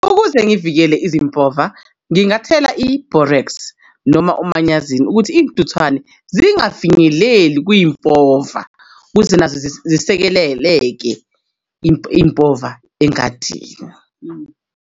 Ukuze ngivikele izimpova ngingathela i-Borax noma umanyazini ukuthi iy'ntuthwane zingafinyeleli kwimpova ukuze nazo zisekeleleke impova engadi.